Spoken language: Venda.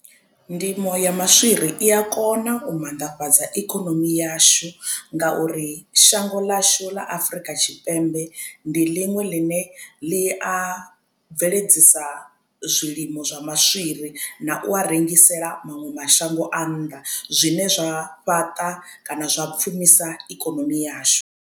Ndimo ya maswiri i a kona u mannḓafhadza ikonomi yashu ngauri shango ḽashu ḽa Afurika Tshipembe ndi ḽiṅwe ḽine ḽi a a bveledzisa zwilimo zwa maswiri na u a rengisela maṅwe mashango a nnḓa zwine zwa fhaṱa kana zwa pfhumisa ikonomi yashu.